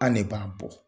An ne b'a bɔ